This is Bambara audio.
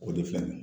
O de filɛ nin ye